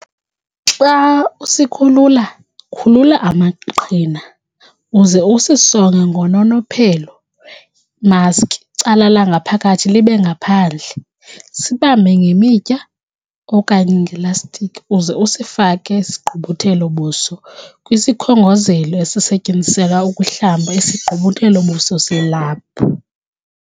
Xa usikhulula, khulula amaqhina, uze usisonge ngononophelo imaski icala langaphakathi libe ngaphandle, sibambe ngemitya okanye ngelastikhi uze usifake sigqubuthelo-buso kwisikhongozelo esisetyenziselwa ukuhlamba isigqubuthelo-buso selaphu.